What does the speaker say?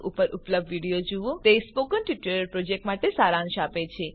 spoken tutorialorg What is a Spoken Tutorial તે spoken tutorial project માટે સારાંશ આપે છે